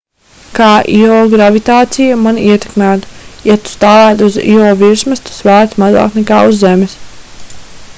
kā īo gravitācija mani ietekmētu ja tu stāvētu uz īo virsmas tu svērtu mazāk nekā uz zemes